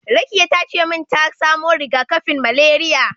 Rakiya tace min ta samo riga-kafin malariya.